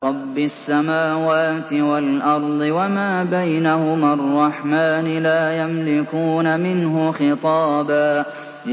رَّبِّ السَّمَاوَاتِ وَالْأَرْضِ وَمَا بَيْنَهُمَا الرَّحْمَٰنِ ۖ لَا يَمْلِكُونَ مِنْهُ خِطَابًا